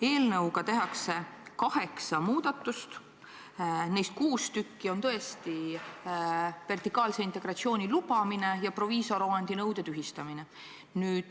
Eelnõus on kirjas kaheksa muudatust, neist kuus tükki on tõesti vertikaalse integratsiooni lubamine ja proviisoriomandi nõude tühistamine.